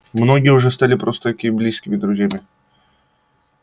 многие уже стали просто-таки близкими друзьями